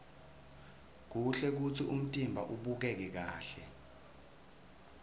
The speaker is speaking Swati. kuhle kutsi umtimba ubukeke kahle